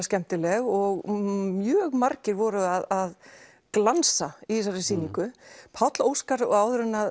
skemmtileg og mjög margir voru að glansa í þessari sýningu Páll Óskar og áður en